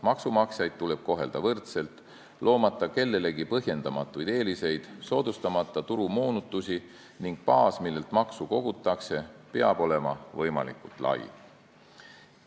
Maksumaksjaid tuleb kohelda võrdselt, loomata kellelegi põhjendamatuid eeliseid ja soodustamata turumoonutusi, ning baas, millelt maksu kogutakse, peab olema võimalikult lai.